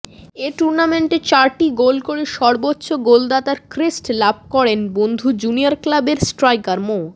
এ টুর্নামেন্টে চারটি গোল করে সর্বোচ্চ গোলদাতার ক্রেস্ট লাভ করেন বন্ধু জুনিয়র ক্লাবের স্ট্রাইকার মো